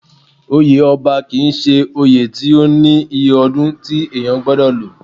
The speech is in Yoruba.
Oyè ọba kì í ṣe oyè tí ó ní iye ọdún tí èèyàn gbọdọ̀ lò